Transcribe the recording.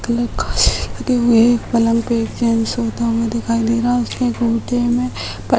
एक पलंग पे जेंट्स सोता हुआ दिखाई दे रहा है उसके कुर्ते में